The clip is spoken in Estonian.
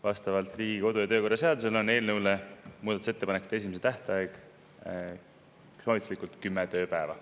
Vastavalt Riigikogu kodu- ja töökorra seadusele on eelnõu kohta muudatusettepanekute esitamise soovitatav tähtaeg kümme tööpäeva.